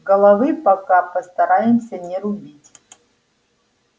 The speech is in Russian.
головы пока постараемся не рубить